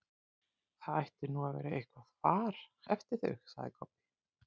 Það ætti nú að vera eitthvað far eftir þau, sagði Kobbi.